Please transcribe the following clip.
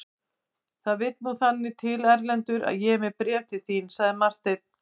Það vill nú þannig til Erlendur að ég er með bréf til þín, sagði Marteinn.